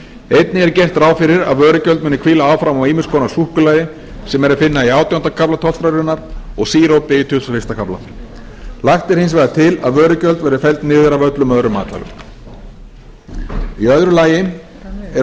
einnig er gert ráð fyrir að vörugjöld muni hvíla áfram á ýmiss konar súkkulaði sem er að finna í átjánda kafla tollskrárinnar og sírópi í tuttugasta og fyrsta kafla lagt er hins vegar er lagt til að vörugjöld verði felld niður af öllum öðrum matvælum í öðru lagi eru